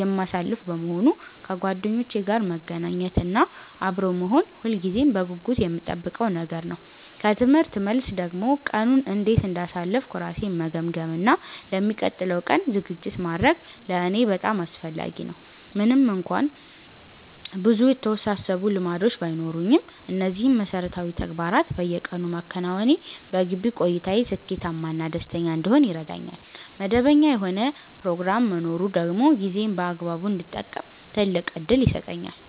የማሳልፍ በመሆኑ፣ ከጓደኞቼ ጋር መገናኘት እና አብሮ መሆን ሁልጊዜም በጉጉት የምጠብቀው ነገር ነው። ከትምህርት መልስ ደግሞ ቀኑን እንዴት እንዳሳለፍኩ ራሴን መገምገም እና ለሚቀጥለው ቀን ዝግጅት ማድረግ ለእኔ በጣም አስፈላጊ ነው። ምንም እንኳን ብዙ የተወሳሰቡ ልማዶች ባይኖሩኝም፣ እነዚህን መሠረታዊ ተግባራት በየቀኑ ማከናወኔ በግቢ ቆይታዬ ስኬታማ እና ደስተኛ እንድሆን ይረዳኛል። መደበኛ የሆነ ፕሮግራም መኖሩ ደግሞ ጊዜዬን በአግባቡ እንድጠቀም ትልቅ ዕድል ይሰጠኛል።